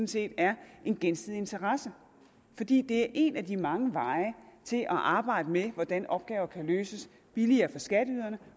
set er en gensidig interesse fordi det er en af de mange veje til at arbejde med hvordan opgaver kan løses billigere for skatteyderne